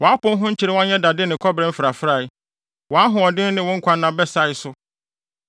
Wʼapon ho nkyerewa nyɛ dade ne kɔbere mfrafrae; wʼahoɔden ne wo nkwanna bɛsae so.